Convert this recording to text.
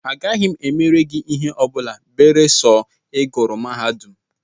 Agaghị m emere gị ihe ọ bụla beresọ I gụrụ mahadum!